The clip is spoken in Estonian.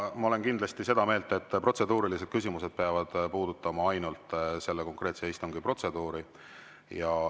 Ma olen kindlasti seda meelt, et protseduurilised küsimused peavad puudutama ainult selle konkreetse istungi protseduuri.